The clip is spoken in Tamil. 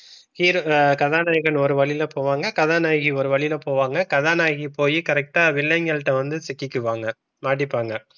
hero கதாநாயகன் ஒரு வழியில போவாங்க. கதாநாயகி ஒரு வழியில போவாங்க. கதாநாயகி போயி correct டா வில்லன்கள் கிட்ட வந்து சிக்கிக்குவாங்க மாட்டிப்பாங்க.